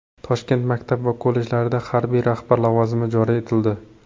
Toshkent maktab va kollejlarida harbiy rahbar lavozimi joriy etildi.